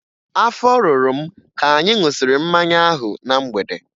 Afọ rụrụ m ka anyị ṅụsịrị mmanya ahụ na mgbede